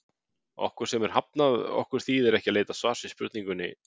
Okkur sem er hafnað, okkur þýðir ekki að leita svars við spurningunni